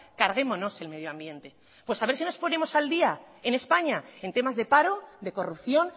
carguémonos el medio ambiente pues a ver si nos ponemos al día en españa en temas de paro de corrupción